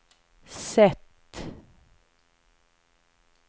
sätt